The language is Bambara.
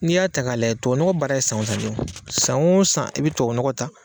N'i y'a ta k'a layɛ tuwawu nɔgɔ baara ye san o san de. San o san i be tuwawu nɔgɔ ta